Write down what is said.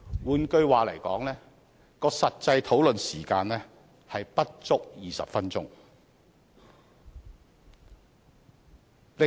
換言之，實際的討論時間不足20分鐘。